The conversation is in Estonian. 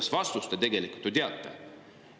Seda vastust te tegelikult ju teate.